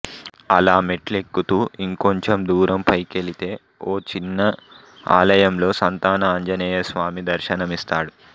అలా మెట్లెక్కుతూ ఇంకొంచెం దూరం పైకెలితే ఓ చిన్న ఆలయంలో సంతాన ఆంజనేయస్వామి దర్శనమిస్తాడు